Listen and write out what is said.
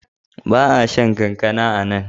Ba a shan kankana a nan.